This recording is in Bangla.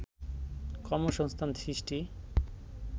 কর্মসংস্থান সৃষ্টি